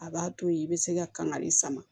A b'a to yen i bɛ se ka kangari sama